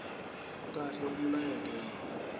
kahle umlayeto wawo